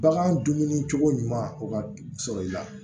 Bagan dumuni cogo ɲuman sɔrɔ i la